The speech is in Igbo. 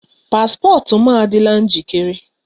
Paspọtụ m adịla njikere?